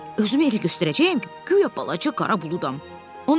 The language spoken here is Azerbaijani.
Özümü elə göstərəcəyəm ki, guya balaca qara buludam.